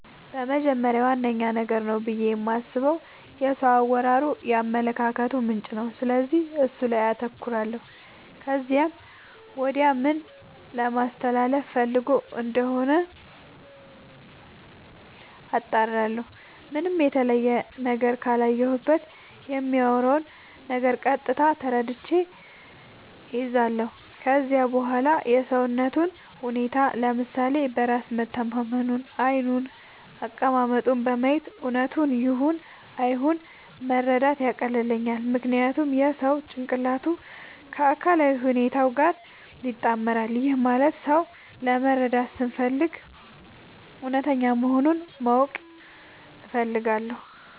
በመጀመሪያ ዋነኛ ነገር ነው ብዬ የማስበው የሰው አወራሩ የአመለካከቱ ምንጭ ነው፤ ስለዚህ እሱ ላይ አተኩራለው ከዚያም ወዲያ ምን ለማለስተላለፋ ፈልጎ እንደሆነ አጣራለሁ። ምንም የተለየ ነገር ካላየሁበት በሚያወራው ነገር ቀጥታ ተረድቼ እይዛለው። ከዚያም በዋላ የሰውነቱን ሁኔታ፤ ለምሳሌ በራስ መተማመኑን፤ ዓይኑን፤ አቀማመጡን በማየት እውነቱን ይሁን አይሁን መረዳት ያቀልልኛል። ምክንያቱም የሰው ጭንቅላቱ ከአካላዊ ሁኔታው ጋር ይጣመራል። ይህም ማለት ሰው ለመረዳት ስፈልግ እውነተኛ መሆኑን ማወቅ እፈልጋለው።